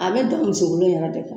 A be da misi golo in yɛrɛ de kan